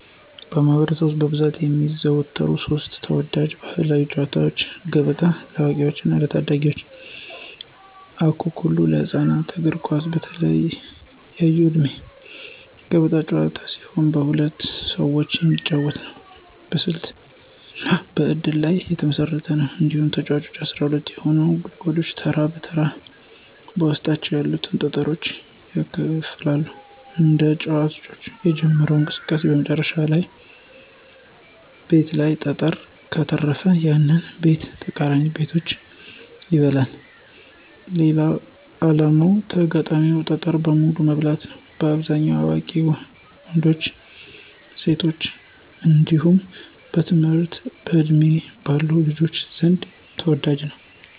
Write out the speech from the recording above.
በማኅበረሰብ ውስጥ በብዛት የሚዘወተሩ ሦስት ተወዳጅ ባሕላዊ ጨዋታዎች፦ ገበጣ (ለአዋቂዎችና ለታዳጊዎች) ፣አኩኩሉ (ለህፃናት)፣ እግር ኳስ (በተለያየ ዕድሜ)። ገበጣ ጥንታዊ ጨዋታ ሲሆን በሁለት ሰዎች የሚጫወት ነው። በስልትና በእድል ላይ የተመሰረተ ነው። እያንዳንዱ ተጫዋች 12 የሆኑትን ጉድጓዶች ተራ በተራ በውስጣቸው ያሉትን ጠጠሮች ያከፋፍላል። አንድ ተጫዋች የጀመረው እንቅስቃሴ በመጨረሻው ቤት ላይ ጠጠር ከተረፈ፣ ያንን ቤትና ተቃራኒ ቤቶችን ይበላል። ዓላማው የተጋጣሚን ጠጠር በሙሉ መብላት ነው። በአብዛኛው በአዋቂ ወንዶችና ሴቶች እንዲሁም በትምህርት ዕድሜ ባሉ ልጆች ዘንድ ተወዳጅ ነው።